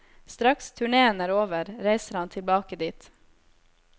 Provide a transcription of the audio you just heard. Straks turnéen er over, reiser han tilbake dit.